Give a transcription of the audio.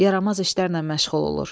Yaramaz işlərlə məşğul olur.